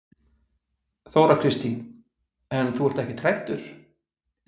Þóra Kristín: En þú ert ekkert hræddur?